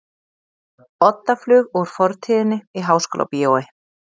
Oddaflug úr fortíðinni í Háskólabíói